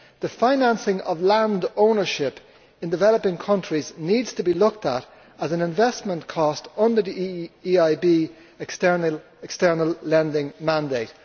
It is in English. The financing of land ownership in developing countries needs to be looked at as an investment cost under the EIB external lending mandate.